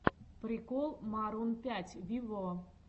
прикол марун пять виво